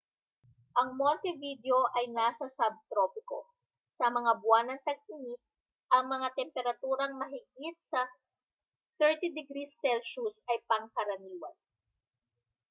ang montevideo ay nasa subtropiko; sa mga buwan ng tag-init ang mga temperaturang mahigit sa +30â°c ay pangkaraniwan